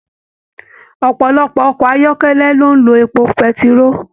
Ọpọlọpọ ọkọ ayọkẹlẹ ló n ló èpo pẹ̀tiroo.